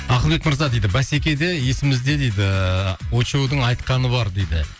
ақылбек мырза дейді бәсекеде есімізде дейді ыыы очоудың айтқаны бар дейді